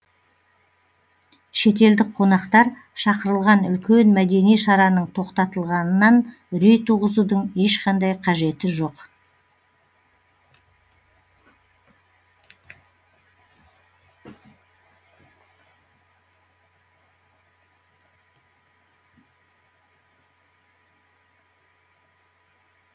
шетелдік қонақтар шақырылған үлкен мәдени шараның тоқтатылғанынан үрей туғызудың ешқандай қажеті жоқ